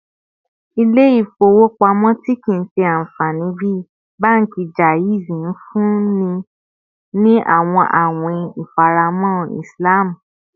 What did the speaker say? Ile-ifowopamọ ti kii ṣe anfani bi banki Jaiz nfunni ni awọn awin ifaramọ Islam